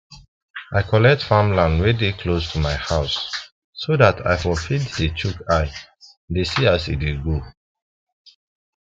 i collect farmland wen dey close to mi house so dat i for fit dey chook eye dey see as e dey go